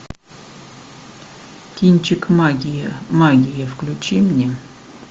кинчик магия магия включи мне